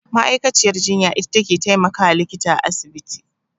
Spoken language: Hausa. Ma'aikaciyar jinya ita take taimakawa likita a asibiti.